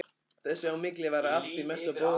Þess á milli var allt í mesta bróðerni.